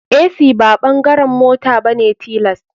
Ac ba bangaren mota bane tilas.